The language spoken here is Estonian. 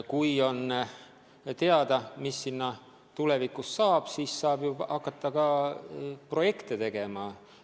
Kui on teada, mis sinna tulevikus saab, siis saab ju hakata ka projekte tegema.